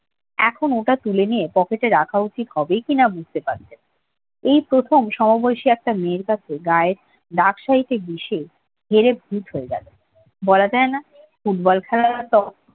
এখন ওটা তুলে নিয়ে পকেটে রাখা উচিত হবে কি বুঝতে পারছে না এই প্রথম সমবয়সী একটা মেয়ের কাছে গায়ের ডাক সহিতে বিশে হেরে ভূত হয়ে গেল বলা যায় না football খেলায়ও হয়তো